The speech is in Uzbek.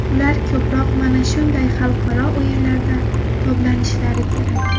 Ular ko‘proq mana shunday xalqaro o‘yinlarda toblanishlari kerak.